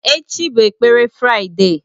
Echi bụ ekpere Fraịde.